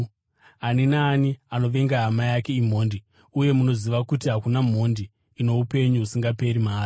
Ani naani anovenga hama yake imhondi, uye munoziva kuti hakuna mhondi ino upenyu husingaperi mairi.